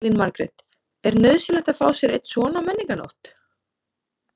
Elín Margrét: Er nauðsynlegt að fá sér einn svona á Menningarnótt?